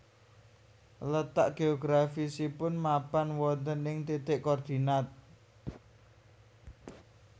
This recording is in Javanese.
Letak geografisipun mapan wonten ing titik koordinat